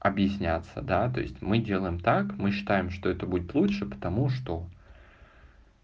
объясняться да то есть мы делаем так мы считаем что это будет лучше потому что